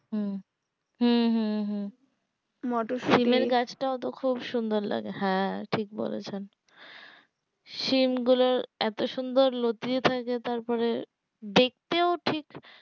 হম হু হু হু মটরশুটি সিমের গাছটা ওতো খুব সুন্দর লাগে হ্যাঁ ঠিক বলেছেন সিম গুলো এতো সুন্দর লতিয়ে যায় যে তার পরে দেখতেও ঠিক